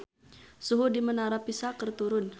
Suhu di Menara Pisa keur turun